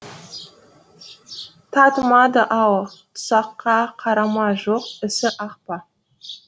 татымады ау тұсаққа қара ма жоқ ісі ақ па